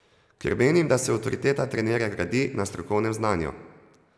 Ker menim, da se avtoriteta trenerja gradi na strokovnem znanju.